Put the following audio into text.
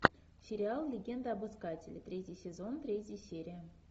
сериал легенда об искателе третий сезон третья серия